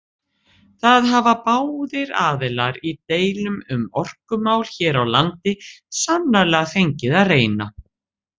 Það hafa báðir aðilar í deilum um orkumál hér á landi sannarlega fengið að reyna.